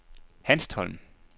Hanstholm